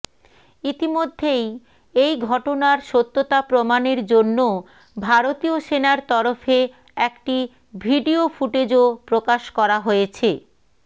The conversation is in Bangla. ইতিমধ্যেই এই ঘটনার সত্যতা প্রমাণের জন্য ভারতীয় সেনার তরফে একটি ভিডিও ফুটেজও প্রকাশ করা হয়েছে